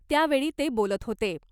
त्यावेळी ते बोलत होते .